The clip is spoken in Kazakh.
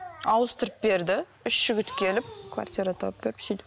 ауыстырып берді үш жігіт келіп квартира тауып беріп сөйтіп